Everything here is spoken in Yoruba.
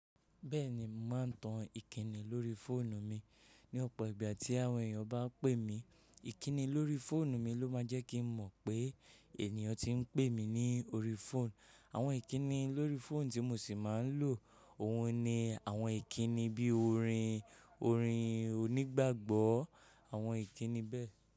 Bẹ́ẹ̀ni, mo màá n tan ìkííni lórí fóònù mi ní ọ̀pọ̀ ìgbà tí àwọn èèyàn bá pè mí. Ìkínni lórí fóònù mi ló máa jẹ́ kí n mọ̀ pé ènìyàn tí ń pè mí ní orí fóònù. Àwọn ìkínni lórí fóònù tí mo sì máa ń lò, òhun ni àwọn ìkínni bíi orin, orin onígbàgbọ́, àwọn ìkínni bẹ́ẹ̀